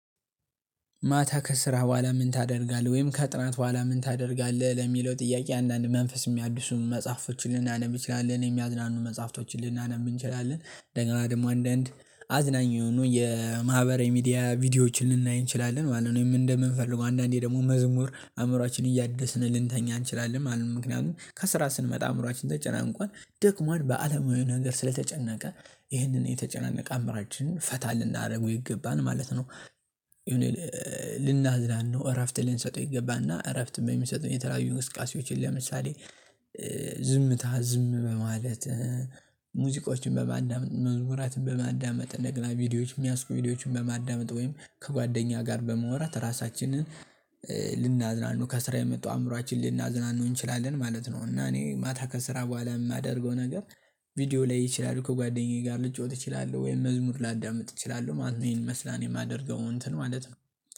ማታ ከስራ በኋላ ምን ታደርጋለህ ወይም ከጥናት በኋላ ምን ታደርጋለህ? ለሚለው ጥያቄ አንዳንድ መንፈስ የሚያድሱ መጽሐፎችን ልናነብ ይችላል እኔ የሚያዝናኑ መጽሐፍቶችን ልናነብ እንችላለን። እንደገና ደግሞ አንዳንድ አዝናኝ የሆኑ የማህበረ ሚዲያ ቪዲዮዎችን ልንናኝ እንችላለን ማለት ነው። እኔ እንደምን ፈልጎ አንዳንዴ ደግሞ መዝሙር አእምሮአችን እያደስን ልንተኛ እንችላለን ማለት። ምክንያቱም ከስራ ስንመጣ አእምሮአችን ተጨናንቋል ደክሟል በአለማዊ ነገር ስለተጨነቀ ይህንን የተጨናነቀ አእምሮአችንን ፈታ ልናደርገው ይገባናል ማለት ነው። ልናዝናናው እረፍት ልንሰጠው ይገባና እረፍትም የምንሰጠው የተለያዩ እንቅስቃሴዎችን ለምሳሌ ዝም በማለት ሙዚቆችን በማዳመጥ መዝሙራትን በማዳመጥ እንደገና ቪዲዮዎች የሚያስቡ ቪዲዮዎችን በማዳመጥ ወይም ከጓደኛ ጋር በመወራት ራሳችንን ልናዝናናው ከስራ የመጡ አእምሮአችን ልናዝናኑ እንችላለን ማለት ነው። እና እኔ ማታ ከስራ በኋላ የማደርገው ነገር ቪዲዮ ላይ ይችላል ከጓደኛዬ ጋር ልጫወት እችላለሁ ወይም መዝሙር ላዳምጥ ይችላል ማለት ነው። ይሄን መስላን የማደርገው እንትን ማለት ነው።